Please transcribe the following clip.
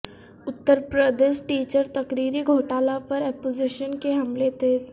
Uttar Pradesh teacher تقرری گھوٹالہ پر اپوزیشن کے حملے تیز